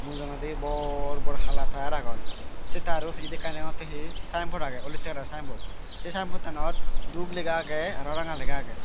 mujungedi bor bor hala tayaar agon sei tayaro pijedi ekkan degongottey he sayenbot agey olottey kalaror sayenbot sei sayebottanot dup lega agey aro ranga lega agey.